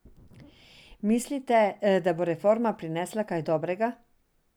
Mislite, da bo reforma prinesla kaj dobrega?